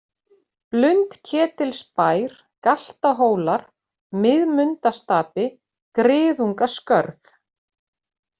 Blundketilsbær, Galtahólar, Miðmundastapi, Griðungaskörð